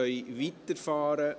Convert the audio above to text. Wir können weiterfahren.